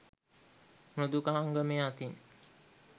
මෘදුකාංගමය අතින්